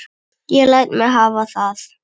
Ég læt mig hafa það.